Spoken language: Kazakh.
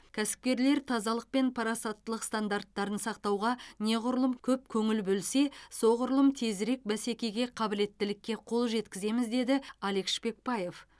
кәсіпкерлер тазалық пен парасаттылық стандарттарын сақтауға неғұрлым көп көңіл бөлсе соғұрлым тезірек бәсекеге қабілеттілікке қол жеткіземіз деді алек шпекбаев